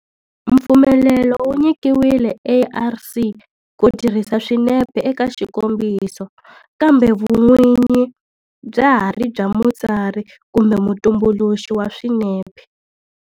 Mpfumelelo wu nyikiwile ARC ku tirhisa swinepe eka xikombiso kambe vun'winyi bya ha ri bya mutsari kumbe mutumbuluxi wa swinepe.